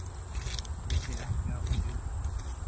Ég sé ekki að hún geri það.